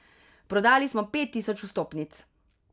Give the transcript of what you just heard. Prodali smo pet tisoč vstopnic.